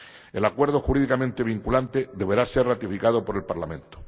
El acuerdo, jurídicamente vinculante, deberá ser ratificado por el Parlamento.